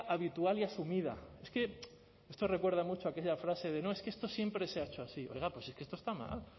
habitual y asumida es que esto recuerda mucho aquella frase de no es que esto siempre se ha hecho así oiga pues es que esto está mal